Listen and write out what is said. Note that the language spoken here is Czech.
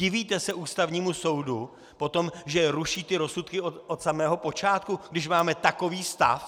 Divíte se Ústavnímu soudu potom, že ruší ty rozsudky od samého počátku, když máme takový stav?